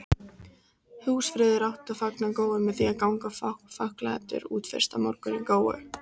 Húsfreyjur áttu að fagna góu með því að ganga fáklæddur út fyrsta morgun í góu.